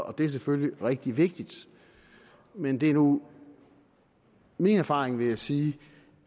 og det er selvfølgelig rigtig vigtigt men det er nu min erfaring vil jeg sige